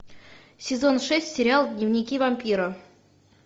сезон шесть сериал дневники вампира